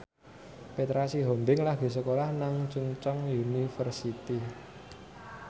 Petra Sihombing lagi sekolah nang Chungceong University